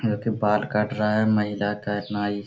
यहाँ पे बाल काट रहा है महिला का एक नाई--